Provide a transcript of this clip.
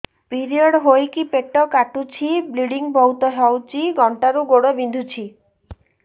period ହୋଇକି ପେଟ କାଟୁଛି ବ୍ଲିଡ଼ିଙ୍ଗ ବହୁତ ହଉଚି ଅଣ୍ଟା ରୁ ଗୋଡ ବିନ୍ଧୁଛି